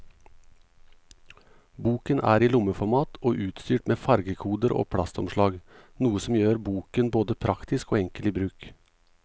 Boken er i lommeformat og utstyrt med fargekoder og plastomslag, noe som gjør boken både praktisk og enkel i bruk.